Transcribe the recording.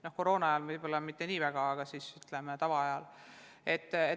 No koroonaajal võib-olla mitte nii väga, aga tavaajal küll.